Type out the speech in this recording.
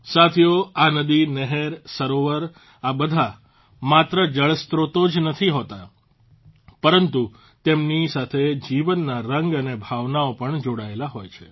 સાથીઓ આ નદી નહેર સરોવર આ બધાં માત્ર જળસ્ત્રોતો જ નથી હોતા પરંતુ તેમની સાથે જીવનના રંગ અને ભાવનાઓ પણ જોડાયેલી હોય છે